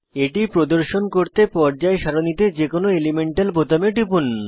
এটি প্রদর্শন করতে পর্যায় সারণীতে যে কোনো এলিমেন্টাল বোতামে টিপুন